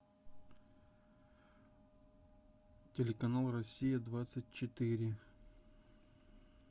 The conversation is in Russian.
телеканал россия двадцать четыре